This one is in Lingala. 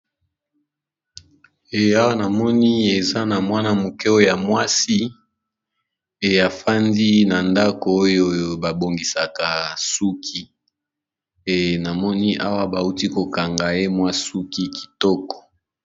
Eh awa namoni eza na mwana-mokeo ya mwasi eafandi na ndako oyo babongisaka suki e namoni awa bauti kokanga emwa suki kitoko.